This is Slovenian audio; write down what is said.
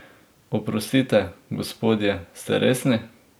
Oprostite, gospodje, ste resni?